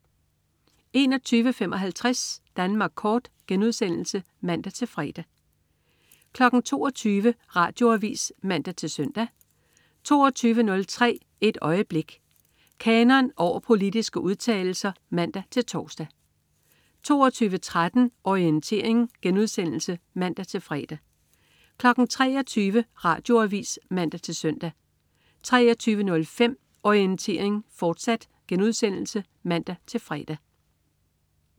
21.55 Danmark Kort* (man-fre) 22.00 Radioavis (man-søn) 22.03 Et øjeblik. Kanon over politiske udtalelser (man-tors) 22.13 Orientering* (man-fre) 23.00 Radioavis (man-søn) 23.05 Orientering, fortsat* (man-fre)